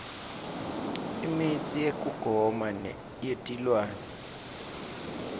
imitsi yekugoma yetilwane